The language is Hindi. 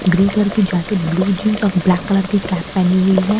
ग्रे कलर की जैकेट ब्लू जींस और ब्लैक कलर की कैप पहनी हुई है।